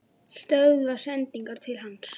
Stöðva sendingar til hans?